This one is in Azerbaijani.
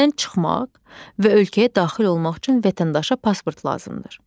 Ölkədən çıxmaq və ölkəyə daxil olmaq üçün vətəndaşa pasport lazımdır.